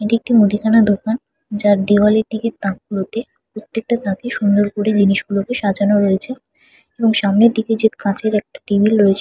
এটি একটি মুদিখানা দোকান। যার দেওয়ালের দিকে তাক গুলোতে প্রত্যেকটা তাকে খুব সুন্দর করে সাজানো রয়েছে এবং সামনের দিকে কাচের একটা টেবিল রয়েছ--